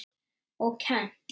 Og kennt.